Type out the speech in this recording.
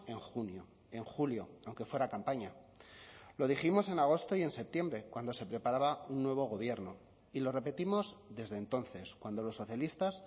en junio en julio aunque fuera campaña lo dijimos en agosto y en septiembre cuando se preparaba un nuevo gobierno y lo repetimos desde entonces cuando los socialistas